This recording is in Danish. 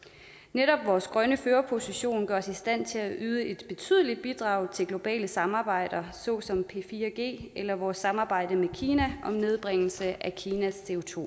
netop vores grønne førerposition gør os i stand til at yde et betydeligt bidrag til globale samarbejder såsom p4g eller vores samarbejde med kina om nedbringelse af kinas